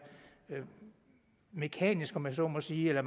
mekanisk om jeg så må sige eller